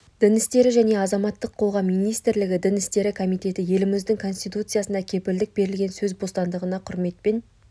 дін істері және азаматтық қоғам министрлігі дін істері комитеті еліміздің конституциясында кепілдік берілген сөз бостандығына құрметпен